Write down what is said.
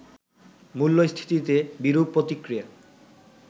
মূল্যস্থিতিতে বিরূপ প্রতিক্রিয়া